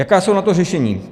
Jaká jsou na to řešení?